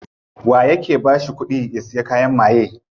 Waye yake bashi kudi ya siya kayan maye?